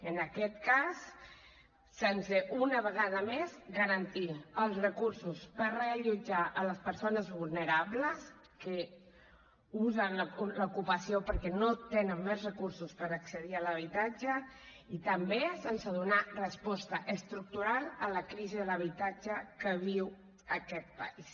en aquest cas sense una vegada més garantir els recursos per reallotjar les persones vulnerables que usen l’ocupació perquè no tenen més recursos per accedir a l’habitatge i també sense donar resposta estructural a la crisi de l’habitatge que viu aquest país